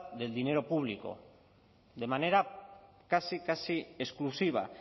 del dinero público de manera casi casi exclusiva